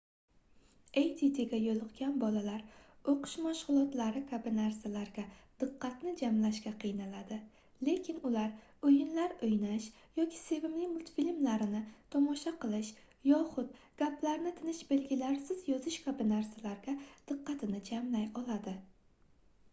addga yoʻliqqan bolalar oʻqish mashgʻulotlari kabi narsalarga diqqat jamlashga qiynaladi lekin ular oʻyinlar oʻynash yoki sevimli multfilmlarini tomosha qilish yoxud gaplarni tinish belgilarisiz yozish kabi narsalarga diqqatini jamlay oladi